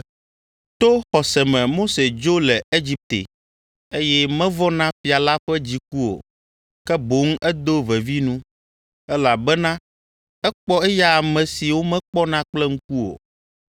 To xɔse me Mose dzo le Egipte, eye mevɔ̃ na fia la ƒe dziku o, ke boŋ edo vevi nu, elabena ekpɔ eya ame si womekpɔna kple ŋku o.